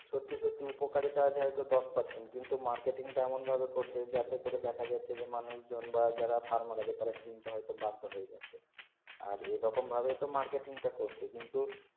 সত্যি সত্যি উপকারিতা হয়তো দশ percent কিন্তু marketing টা এমন ভাবে করছে যাতে করে দেখা যাচ্ছে যে মানুষ জন বা যারা Farmer আছে তার কিনতে হয়তো বাধ্য হয়ে যাচ্ছে আর এই রকম ভাবে তো marketing টা করছে কিন্তু